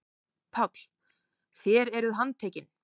PÁLL: Þér eruð handtekin.